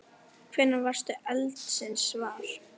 Hvenær varðstu eldsins var?